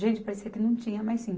Gente, parecia que não tinha, mas sim.